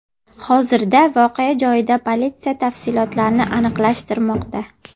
Hozirda voqea joyida politsiya tafsilotlarni aniqlashtirmoqda.